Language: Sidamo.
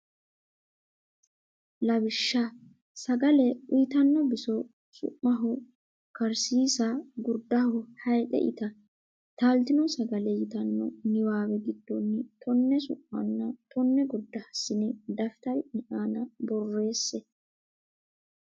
Lawishsha sagale uytanno biso su maho karsiisa gurdaho hayxe ita Taaltino Sagale yitanno niwaawe giddonni tonne su manna tonne gurda hassine daftari ne aana borreesse.